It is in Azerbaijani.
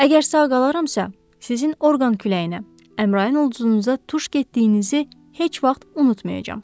Əgər sağ qalaramsa, sizin orqan küləyinə, Əmrayın ulduzunuza tuş getdiyinizi heç vaxt unutmayacağam.